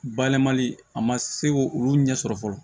Bayɛlɛmali a ma se k'o olu ɲɛsɔrɔ fɔlɔ